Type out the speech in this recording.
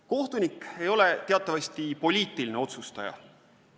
Kohtunik ei ole teatavasti poliitiline otsustaja.